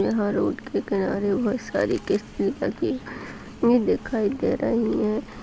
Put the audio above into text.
यहाँ रोड के किनारे बहुत सारी कस्तियाँ दिखाई दे रहीं हैं।